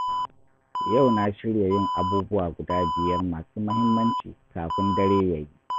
Yau na shirya yin abubuwa guda biyar masu muhimmanci kafin dare ya yi.